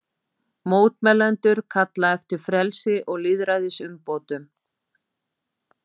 Mótmælendur kalla eftir frelsi og lýðræðisumbótum